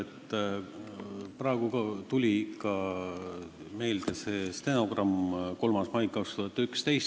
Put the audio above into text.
Ka praegu tuli meelde 3. mai 2011. aasta stenogramm.